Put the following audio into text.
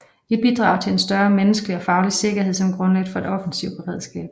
Et bidrag til en større menneskelig og faglig sikkerhed som grundlag for et offensivt beredskab